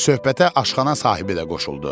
Söhbətə aşxana sahibi də qoşuldu.